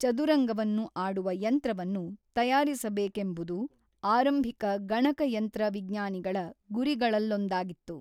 ಚದುರಂಗವನ್ನು ಆಡುವ ಯಂತ್ರವನ್ನು ತಯಾರಿಸಬೇಕೆಂಬುದು ಆರಂಭಿಕ ಗಣಕಯಂತ್ರ ವಿಜ್ಞಾನಿಗಳ ಗುರಿಗಳಲ್ಲೊಂದಾಗಿತ್ತು.